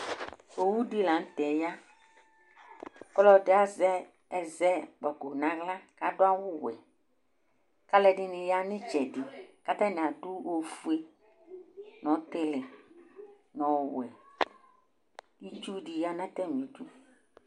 Owʊ ɖɩ la ŋtɛ ƴa, ƙɔlɛ ɖɩ aza ɛzɛ ƙpɔƙʊ ŋahla ƙaɖʊ awʊ wɛ Ƙalu ɛɖɩŋɩ ƴa ŋɩtsɛɖɩ ƙatani aɖʊ oƒoé ŋʊ ɔtilɩ, ŋʊ ɔwɛ Ɩtsʊ ɖɩ ƴa ŋʊ tamɩ ɖʊ